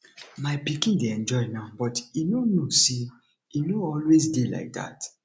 my pikin dey enjoy now but e no know say e no always dey like dat